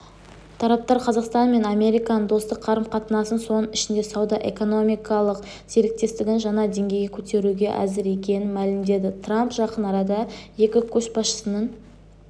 тараптар қазақстан мен американың достық қарым-қатынасын соның ішінде сауда-экономикалық серіктестікті жаңа деңгейге көтеруге әзір екенін мәлімдеді трамп жақын арада екі көшбасшының